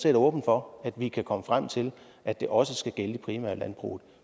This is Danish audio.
er åben for at vi kan komme frem til at det også skal gælde det primære landbrug